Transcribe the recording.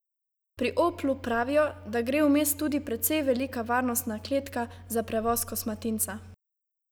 Pri Oplu pravijo, da gre vmes tudi precej velika varnostna kletka za prevoz kosmatinca.